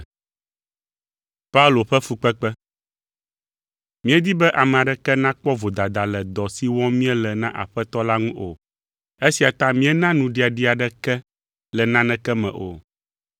Míedi be ame aɖeke nakpɔ vodada le dɔ si wɔm míele na Aƒetɔ la ŋu o, esia ta míena nuɖiɖia aɖeke le naneke me o.